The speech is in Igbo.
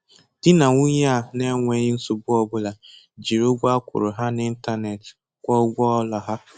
Dị nà nwunye a n'enweghị nsogbu ọ bụla jiri ụgwọ a kwụrụ ha n'intanetị kwụọ ụgwọ ụlọ ha.